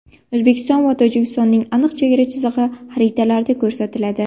O‘zbekiston va Tojikistonning aniq chegara chizig‘i xaritalarda ko‘rsatiladi.